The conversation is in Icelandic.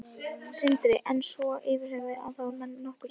Sindri: En svona yfirhöfuð að þá eru menn nokkuð sáttir?